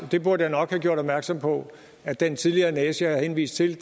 det burde jeg nok have gjort opmærksom på at den tidligere næse jeg har henvist til